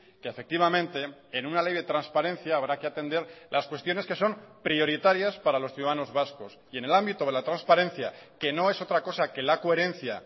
que efectivamente en una ley de transparencia habrá que atender las cuestiones que son prioritarias para los ciudadanos vascos y en el ámbito de la transparencia que no es otra cosa que la coherencia